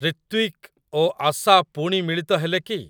ରିତ୍ଵିକ ଓ ଆଶା ପୁଣି ମିଳିତ ହେଲେ କି?